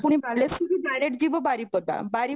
ପୁଣି ବାଲେଶ୍ୱର ରୁ direct ଯିବ ବାରିପଦା, ବାରି